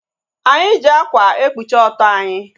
Anyị ji ákwà ekpuchi ọtọ anyị